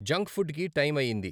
junk food కి time అయ్యింది